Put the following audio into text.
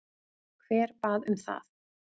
Hver bað um það?